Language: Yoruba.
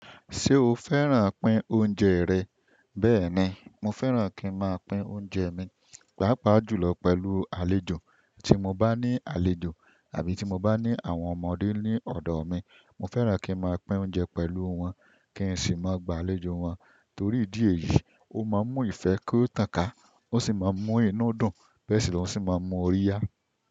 Ṣé o fẹ́ràn pín oúnjẹ rẹ? Bẹ́ẹ̀ni, mo fẹ́ràn kí n máa pín oúnjẹ mi, pàápàá jùlọ pẹ̀lú àlejò. Tí mo bá ní àlejò àbí tí mo bá ní àwọn ọmọdé ní ọ̀dọ̀ mi, mo fẹ́ràn kí n máa pín oúnjẹ pẹ̀lú wọn kí n sì máa gba àlejò wọn. Torí ìdí èyí, ó máa ń mú ìfẹ́ kòtànkà, ó sì máa ń mú inùdù, bẹ́ẹ̀ sì lọ ṣìi máa ń mú oríyá.